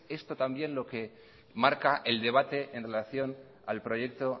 es esto también lo que marca el debate en relación al proyecto